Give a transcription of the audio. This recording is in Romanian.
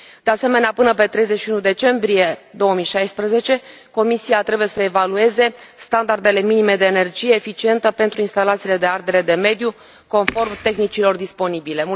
De asemenea, până la 31 decembrie 2016, Comisia trebuie să evalueze standardele minime de energie eficientă pentru instalațiile de ardere de mediu, conform tehnicilor disponibile.